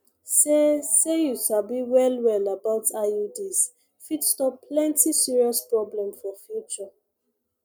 say say you sabi well well about iuds fit stop plenty serious problem for future